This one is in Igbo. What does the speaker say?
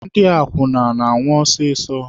Ndị akwụna na-anwụ ọsịsọ.